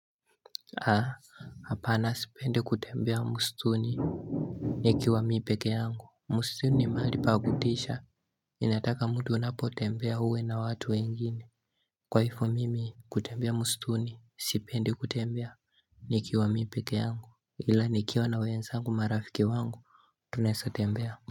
Haa Hapana sipendi kutembea msituni Nikiwa mimi peke yangu msituni mahali pa kutisha Inataka mtu anapo tembea uwe na watu wengine Kwa hivyo mimi kutembea msituni sipendi kutembea Nikiwa mimi peke yangu ila nikiwa na wenzangu marafiki zangu tunaeza tembea.